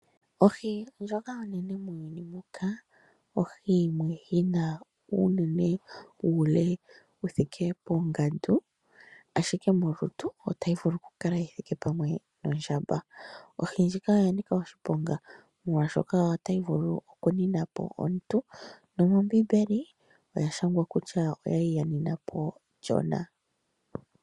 Ohi ndjoka onene muuyuni muka, ohi yimwe yi na uune wuule wu thike pongandu, ashike molutu otayi vulu yi kale yi thike pamwe nondjamba. Ohi ndjika oya nika oshiponga , molwashoka otayi vulu okunina po omuntu nomombimbeli oya shangwa kutya oya li ya nina po Jona.